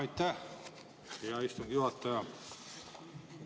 Aitäh, hea istungi juhataja!